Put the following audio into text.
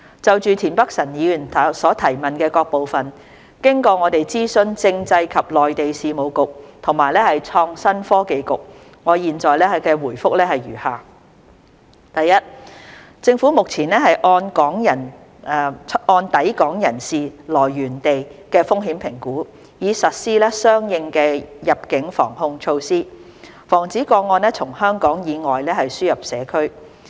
就田北辰議員質詢的各部分，經過我們諮詢政制及內地事務局和創新及科技局，我現答覆如下：一政府目前按抵港人士來源地的風險評估，以實施相應的入境防控措施，防止個案從香港以外輸入社區。